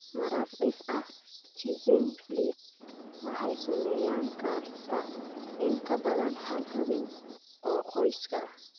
Marar dhif ah, schizencephaly waxay saameyn kartaa in ka badan hal xubin oo qoyska ah.